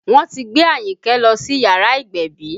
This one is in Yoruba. Wọ́n ti gbé Ayinke lọ sí yàrá ìgbẹ̀bí